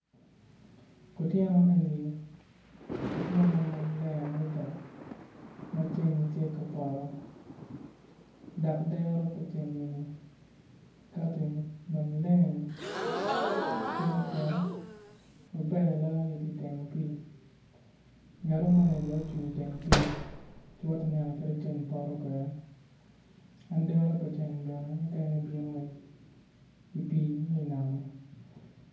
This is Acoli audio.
Kutyeno eni kutyeno maleng adada ma ceng tye ka poto dok dero pa ceng eni Kati maleng nyutte maber loyo ka itye iteng pii ngato moni bene ocung iteng pii ci woti neno kita ceng poto kwede en dero pa ceng bene mukene bino wa ipii ma inam-mi.